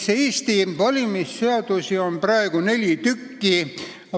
Eesti valimisseadusi on praegu neli tükki.